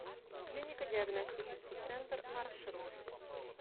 клинико диагностический центр маршрут